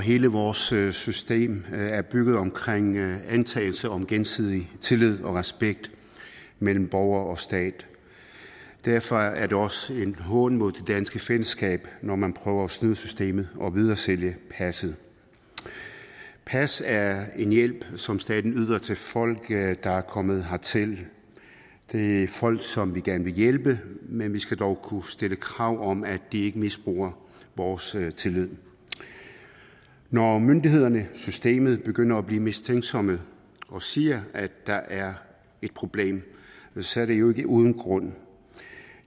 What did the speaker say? og hele vores system er bygget op omkring antagelse om gensidig tillid og respekt mellem borgere og stat og derfor er det også en hån mod det danske fællesskab når man prøver at snyde systemet og videresælge passet pas er en hjælp som staten yder til folk der er kommet hertil det er folk som vi gerne vil hjælpe men vi skal dog kunne stille krav om at de ikke misbruger vores tillid når myndighederne systemet begynder et blive mistænksomme og siger at der er et problem så er det jo ikke uden grund